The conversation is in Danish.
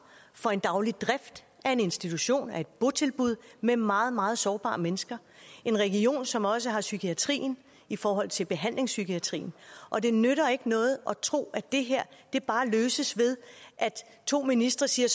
for en daglig drift af en institution af et botilbud med meget meget sårbare mennesker en region som også har psykiatrien i forhold til behandlingspsykiatrien og det nytter ikke noget at tro at det her bare løses ved at to ministre siger